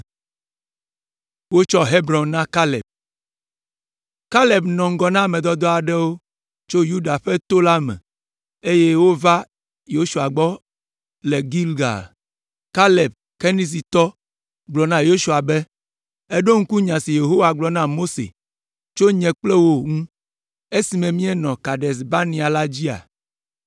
Kaleb nɔ ŋgɔ na ame dɔdɔ aɖewo tso Yuda ƒe to la me, eye wova Yosua gbɔ le Gilgal. Kaleb Kenizitɔ gblɔ na Yosua be, “Èɖo ŋku nya si Yehowa gblɔ na Mose tso nye kple wò ŋu esime míenɔ Kades Barnea la dzia?